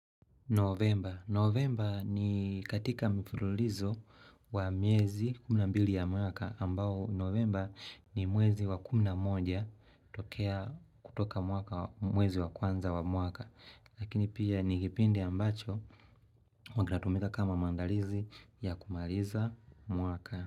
Novemba. Novemba ni katika mfululizo wa mwezi kumi na mbili ya mwaka ambao novemba ni mwezi wa kumi na moja tokea kutoka mwaka mwezi wa kwanza wa mwaka. Lakini pia ni kipindi ambacho wangatumika kama maandalizi ya kumaliza mwaka.